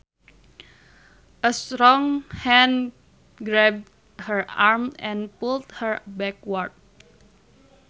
A strong hand grabbed her arm and pulled her backward